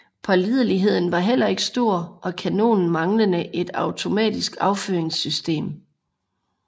Pålideligheden var heller ikke stor og kanonen manglede et automatisk affyringssystem